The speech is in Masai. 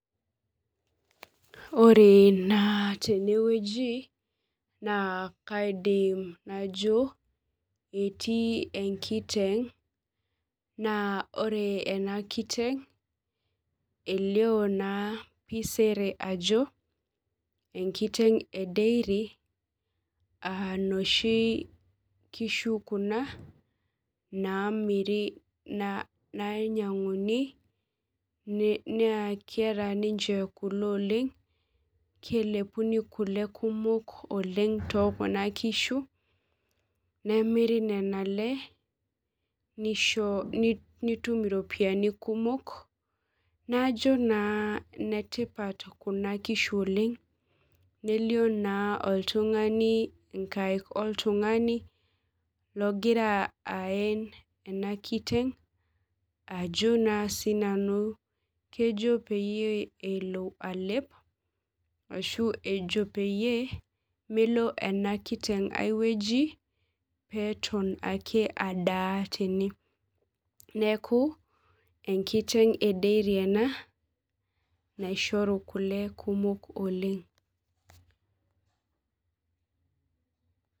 Ore ena tenewueji na kaidim najo eti enkiteng naa ore ena kiteng elio naa sere ajo wnkiteng ee dairy inoshi kishu kuna nainyiang'uni naa keeta ninche kule oleng kelepuni kule kumok teekuna kisho nemiri nena lee nitum iropiyiani kumok najo naa inetipat kuna kishu oleng nelio naa oltung'ani ogira aen ena kiteng kejo naa peelo alep ashuu ejo peyie melo ana kiteng ai weueji peeton ake adaa tene neeku enkireng e deiri ena nashoru kule kumok oleng